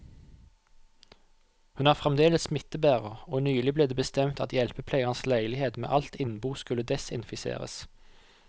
Hun er fremdeles smittebærer, og nylig ble det bestemt at hjelpepleierens leilighet med alt innbo skulle desinfiseres.